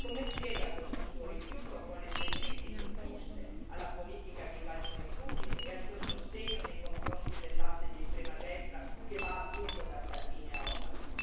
Come spiega questo Suo rifiuto, con le Sue critiche giuste alla politica di Vladimir Putin e al Suo sostegno nei confronti dell'asse di estrema destra che va appunto da Salvini a Orbán?